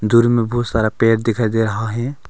दूर में बहुत सारा पेड़ दिखाई दे रहा है।